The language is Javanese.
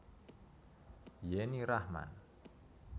Yenny Rachman